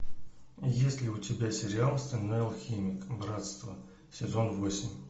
есть ли у тебя сериал стальной алхимик братство сезон восемь